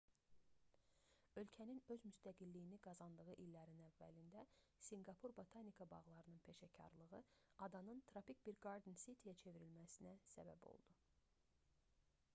ölkənin öz müstəqilliyini qazandığı illərin əvvəlində sinqapur botanika bağlarının peşəkarlığı adanın tropik bir garden city-yə bağ şəhəri çevrilməsinə səbəb oldu